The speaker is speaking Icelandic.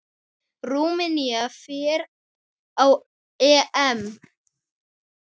Rúmenía fer á EM.